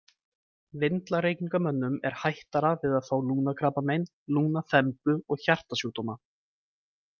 Vindlareykingamönnum er hættara við að fá lungnakrabbamein, lungnaþembu og hjartasjúkdóma.